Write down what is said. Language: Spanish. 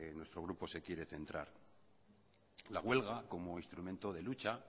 nuestro grupo se quiere centrar la huelga como instrumento de lucha